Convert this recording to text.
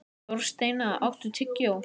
Þorsteina, áttu tyggjó?